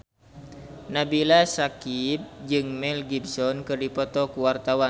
Nabila Syakieb jeung Mel Gibson keur dipoto ku wartawan